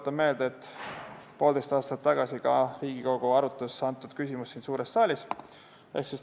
Tuletan meelde, et poolteist aastat tagasi ka Riigikogu arutas antud küsimust siin suures saalis.